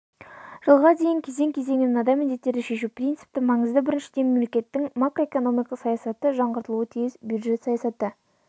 жылға дейін кезең-кезеңмен мынадай міндеттерді шешу принципті маңызды біріншіден мемлекеттің макроэкономикалық саясаты жаңғыртылуы тиіс бюджет саясаты